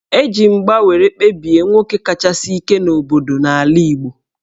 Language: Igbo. E ji mgba were kpebie nwoke kachasi ike n'obodo n'ala Igbo